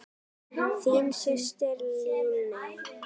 Þín systir, Líney.